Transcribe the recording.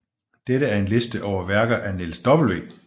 Dette er en liste over værker af Niels W